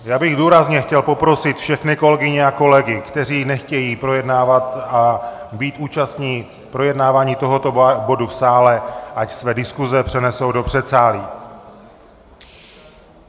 Já bych důrazně chtěl poprosit všechny kolegyně a kolegy, kteří nechtějí projednávat a být účastni projednávání tohoto bodu v sále, ať své diskuze přenesou do předsálí!